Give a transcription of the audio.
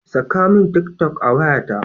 Saka min tik toc a wayata.